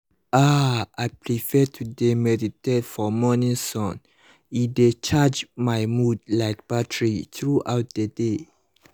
ah i prefer to dey meditate for morning sun e dey charge my mood like battery throughout the day